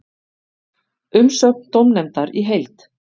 Umsögn dómnefndar í heild